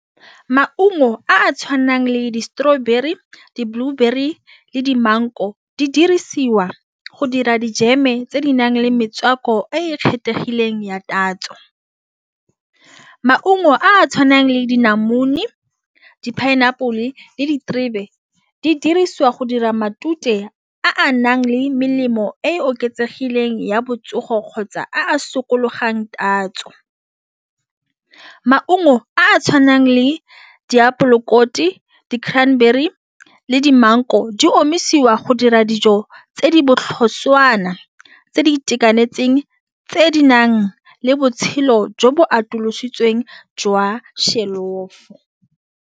Maungo a a tshwanang le di-strawberry, di-blueberry, di maungo di dirisiwa go dira dijeme tse di nang le metswako e kgethegileng ya tatso maungo a tshwanang le dilamune di pineapple le diterebe di dirisiwa go dira matute a a nang le melemo e oketsegileng ya botsogo, kgotsa a sokola gogang tatso maungo a a tshwanang le diapole mokoti di-crannberry le di-mango di omisiwa go dira dijo tse di botlhoswana tse di itekanetseng tse di nang le botshelo jo bo atolositsweng jwa shelofo.